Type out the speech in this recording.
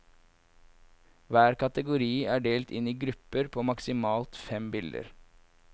Hver kategori er delt inn i grupper på maksimalt fem bilder.